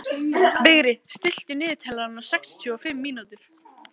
Vigri, stilltu niðurteljara á sextíu og fimm mínútur.